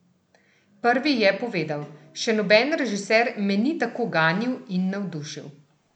Prvi je povedal: "Še noben režiser me ni tako ganil in navdušil.